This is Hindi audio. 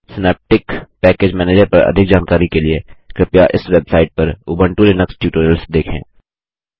सिनैप्टिक पैकेज मैनेजर पर अधिक जानकारी के लिए कृपया इस वेबसाइट पर उबंटू लिनक्स ट्यूटोरियल्स देखें